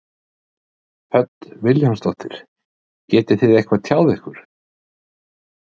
Hödd Vilhjálmsdóttir: Getið þið eitthvað tjáð ykkur?